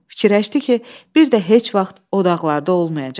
Fikirləşdi ki, bir də heç vaxt o dağlarda olmayacaq.